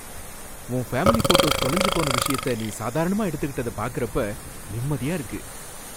உன் family photos தொலைஞ்சு போன விஷயத்த நீ சாதாரணமா எடுத்துக்கிட்டத பார்க்கறப்ப நிம்மதியா இருக்கு.